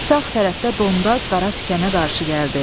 Sağ tərəfdə Dondaz qara tükənə qarşı gəldi.